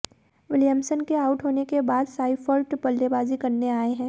Williamson के out होने के बाद साइफर्ट बल्लेबाजी करने आए हैं